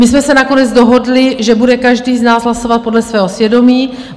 My jsme se nakonec dohodli, že bude každý z nás hlasovat podle svého svědomí.